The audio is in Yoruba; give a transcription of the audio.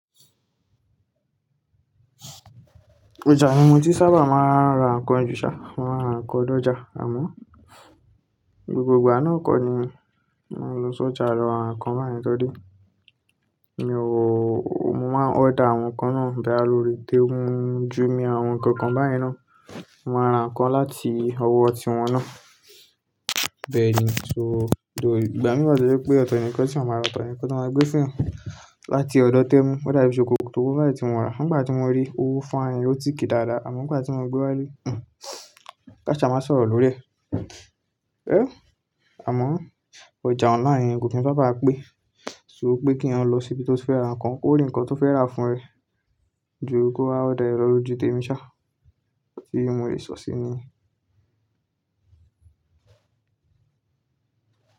Ọjà ni mo ti sábà máa ń ra nǹkan jù ṣá, máa ń ra nǹkan lọ́jà. Àmọ́ gbogbo ìgbà náà kọ́ ni mo ń lọ sójà ra ǹkan báyẹn, torí, mi ò, mo máa ń order àwọn nǹkan náà boya lórí Temu, Jùmia àwọn nǹkan kan báyen ná, mo mà ra nǹkan láti ọwọ́ tí wọn náà. Bẹ́ẹ̀ ni, só tho, ìgbà mìí wa tọ́ jo pé ọ̀tọ̀ nìkan tí eeyan máa rà, ọ̀tọ̀ nìkan tí wọ́n máa gbé fún eeyan láti ọ̀dọ̀ Temu. Ó dà bí ṣòkòtò kan báyiì tí mo rà. Nígbà tí mo rí o fine, o thick i dáadáa, àmọ́ nígbà tí mo gbé wálé, hmmm, káṣa máa sọ̀rọ̀ lórí ẹ̀. Ẹ́, àmọ́ ọjà online yen kò k n sábà pé ṣùgbọ́n pé kí wọn lọ sí ibi tó fẹ́ ra nǹkan, kó rí nǹkan tó fẹ́ rà fún ra ẹ. Jù kó order lọ lójú tèmi ṣá òun tí mo lè sọ sí ni yẹn.